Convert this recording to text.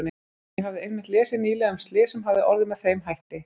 Ég hafði einmitt lesið nýlega um slys sem hafði orðið með þeim hætti.